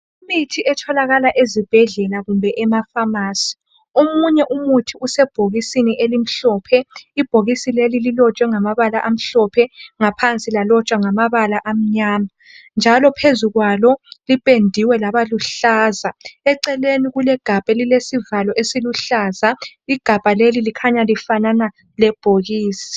Imithi etholakala ezibhedlela kumbe emafamasi omunye umuthi usebhokisini elimhlophe ibhokisi leli lilotshwe ngamabala amhlophe ngaphansi lalotshwa ngamabala amnyama njalo phezukwalo liphendiwe laba luhlaza eceleni kulesivalo esiluhlaza igabha leli likhanya lifanana lebhokisi